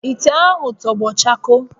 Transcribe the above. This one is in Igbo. Ite ahụ tọgbọ chakoo